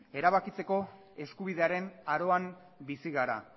erabakitzeko eskubidearen aroan bizi gara